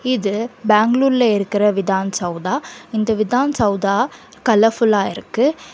இது பெங்களூர்ல இருக்குற விதான் சவுதா இந்த விதான் சவுதா கலர்ஃபுல்லா இருக்கு.